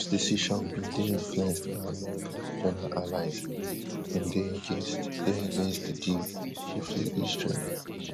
trumps decision bin dey influenced by america regional allies wey bin dey against dey against di deal chiefly israel